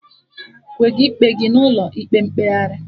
Wega ikpe gị n'ụlọ ịkpe mkpegharị